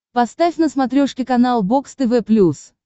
поставь на смотрешке канал бокс тв плюс